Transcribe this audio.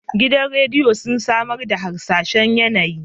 Gidan rediyo sun samar da harsashen yAnayi